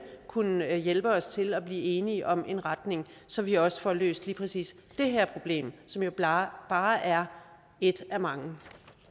kunne hjælpe os til at blive enige om en retning så vi også får løst lige præcis det her problem som jo bare bare er et af mange